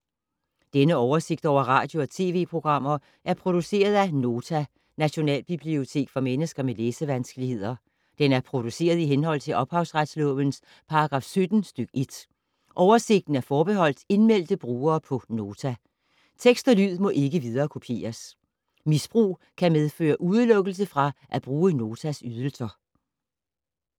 Denne oversigt over radio og TV-programmer er produceret af Nota, Nationalbibliotek for mennesker med læsevanskeligheder. Den er produceret i henhold til ophavsretslovens paragraf 17 stk. 1. Oversigten er forbeholdt indmeldte brugere på Nota. Tekst og lyd må ikke viderekopieres. Misbrug kan medføre udelukkelse fra at bruge Notas ydelser.